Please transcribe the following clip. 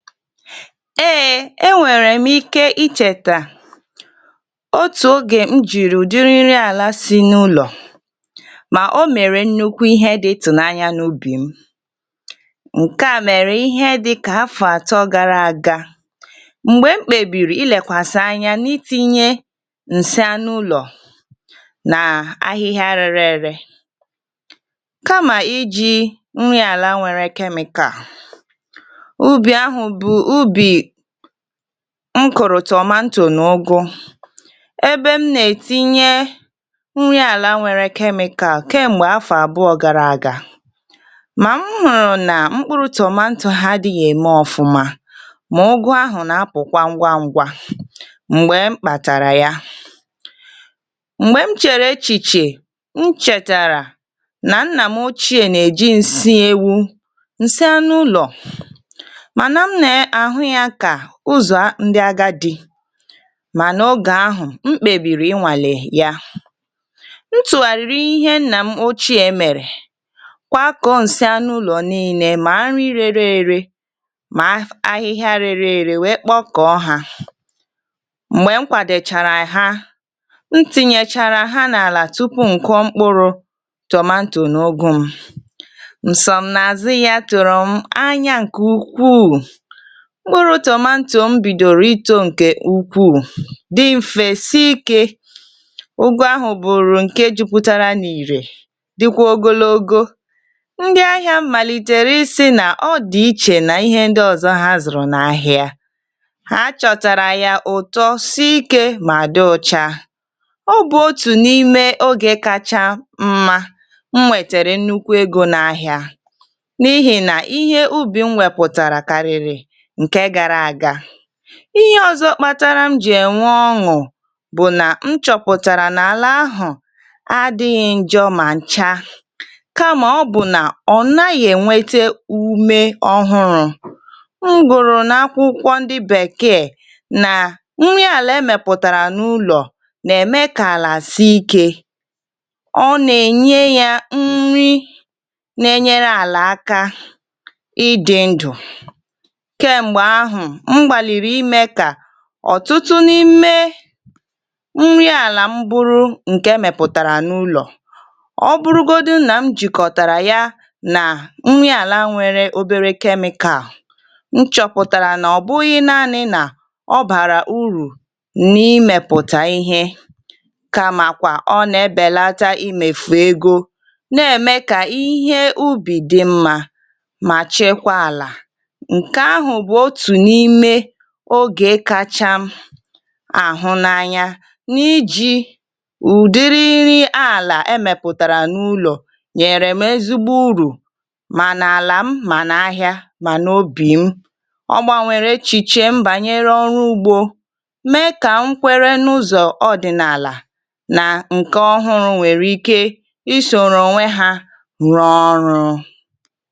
Ee e nwere m ike icheta otu oge m jiri udi nri ala si n'ụlọ ma o mere nnukwu ihe dị ịtụnanya n'ubi m. Nke a mere ihe dịka afọ atọ gara aga mgbe m kpebiri ilekwasị n'itinye nsị anụ ụlọ na ahịhịa rere ere kama iji nri ala nwere chemical. Ubi ahụ bụ ubi m kụrụ tomanto na ụ́gụ ebe m na-etinye nri ala nwere chemical kemgbe afọ abụọ gara aga. Ma m hụrụ na mkpụrụ tomanto m adịghị eme ọfụma, ma ụ́gụ ahụ na-apụkwa ngwá ngwá mgbe m kpatara ya. Mgbe m chere echiche, m chetara na nna m ochie na-eji nsị ewu nsị anụ ụlọ mana m ne ahụ ya ka ụzọ ndị agadi mana oge ahụ, m kpebiri ịnwale ya. M tụgharịrị ihe nna m ochie mere, kwakọọ nsị anụ ụlọ niile ma nri rere ere ma a ahịhịa rere ere wee kpọkọọ ha. Mgbe m kwadochara ha, m tinyechara ha n'ala tupu m kụọ mkpụrụ tomanto na ụ́gụ m. Nsomnazụ ya tụrụ m anya nke ukwuu. Mkpụrụ tomanto m bidoro ito nke ukwuu, dị mfe sii ike. Ụ́gụ ahụ bụ nke jupụtara n'irè dịkwa ogologo. Ndị ahịa m malitere ị sị na ọ dị iche n'ihe ndị ọzọ ha zụrụ n'ahịa. Ha chọtara ya ụtọ si ike ma dị ọcha. Ọ bụ otu n'ime oge kacha mma m nwetere nnukwu ego n'ahịa n'ihina ihe ubi m wepụtara karịrị nke gara aga. Ihe ọzọ kpatara m ji enwe ọṅụ bụ na m chọpụtara na ala ahụ adịghị njọ ma ncha kama ọ bụ na ọ naghị enwete umé ọhụrụ. M gụrụ n'akwụkwọ ndị bekee na nri ala e mepụtara n'ụlọ na-eme ka ala si ike. Ọ na-enye ya nri na-enyere ala aka ịdị ndụ. Kemgbe ahụ, m gbalịrị ime ka ọtụtụ n'ime nri ala m bụrụ nke e mepụtara n'ụlọ. Ọ bụrụgodụ na m jikọtara ya na nri ala nwere obere chemical, m chọpụtara na ọ bụghị naanị na ọ bara úrù n'imepụta ihe kama kwa ọ na-ebelata imefu ego na-eme ka ihe ubi dị mma ma chekwa ala. Nke ahụ bụ otu n'ime oge kacha m ahụ n'anya n'iji udiri nri ala e mepụtara n'ụlọ nyere m ezigbo úrù ma n'ala m ma n'ahịa ma n'obi m. Ọ gbanwere echiche m banyere ọrụ ugbo mee ka m kwere n'ụzọ ọdịnala na nke ọhụrụ nwere ike isoro onwe ha rụọ ọrụ.